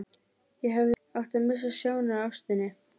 Ég hefði átt að missa sjónar á ástinni.